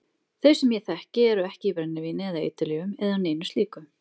Þau sem ég þekki eru ekki í brennivíni eða eiturlyfjum eða neinu slíku.